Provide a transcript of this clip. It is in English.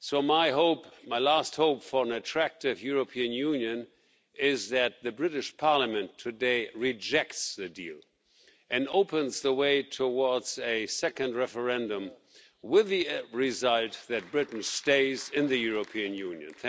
My last hope for an attractive European Union is that the British Parliament today rejects the deal and opens the way towards a second referendum with the result that Britain stays in the European Union.